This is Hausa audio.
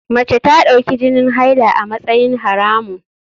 Mace ta dauki jinin haila a matsayin haramun.